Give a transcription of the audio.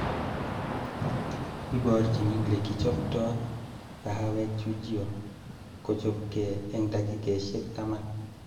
Iborchin lekichobtan kahawek Chujio, kochobke eng dakikaishek taman